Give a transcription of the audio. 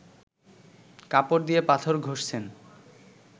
কাপড় দিয়ে পাথর ঘষছেন